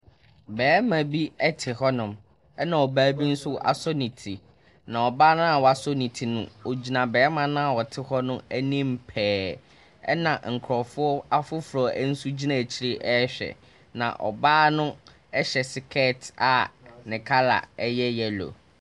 Bɛma bi ɛte hɔnom ɛna ɔbaa bi asɔ ne ti. Na ɔbaa no a w'asɔ ne te no, ogyina bɛma na ɔte hɔ no anim pɛɛ. ɛna nkrɔfo afoforɔ nso gyina akyire ɛhwɛ. Na ɔbaa no ɛhyɛ sikɛɛt a ne kala ɛyɛ yɛlo.